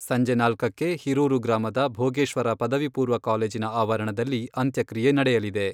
ಸಂಜೆ ನಾಲ್ಕಕ್ಕೆ ಹೀರೂರು ಗ್ರಾಮದ ಭೋಗೇಶ್ವರ ಪದವಿ ಪೂರ್ವ ಕಾಲೇಜಿನ ಆವರಣದಲ್ಲಿ ಅಂತ್ಯಕ್ರಿಯೆ ನಡೆಯಲಿದೆ.